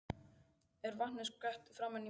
Er vatninu skvett framan í mann.